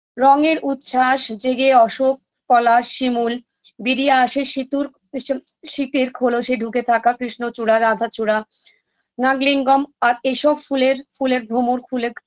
রঙের উচ্ছ্বাস জেগে অশোক পলাশ শিমুল বিরিয়ে আসে সিতুর ইসম শীতের খোলসে ঢুকে থাকা কৃষ্ণচূড়া রাধাচূড়া নাগলিঙ্গম আর এসব ফুলের ফুলের ভ্রমর খুলে